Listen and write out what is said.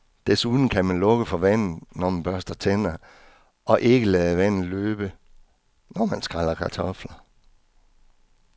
Desuden kan man lukke for vandet, når man børster tænder og ikke lade vandet løbe, når man skræller kartofler.